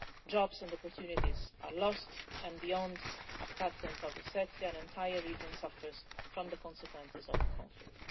jobs and opportunities are lost, and beyond Abkhazia and South Ossetia, an entire region suffers from the consequences of the conflict.